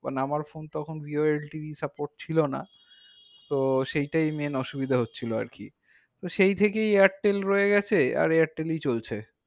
মানে আমার phone তখন jio LT র support ছিল না। তো সেইটাই main অসুবিধা হচ্ছিলো আরকি। তো সেই থেকেই airtel এ রয়ে গেছে আর airtel ই চলছে।